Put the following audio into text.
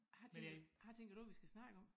Hvad tænker hvad tænker du vi skal snakke om?